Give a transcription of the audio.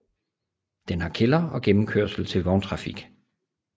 Den har kælder og gennemkørsel til vogntrafik